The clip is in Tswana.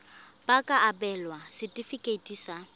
ba ka abelwa setefikeiti sa